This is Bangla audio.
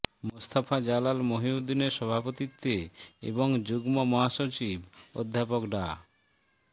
মোস্তফা জালাল মহিউদ্দিনের সভাপতিত্বে এবং যুগ্ম মহাসচিব অধ্যাপক ডা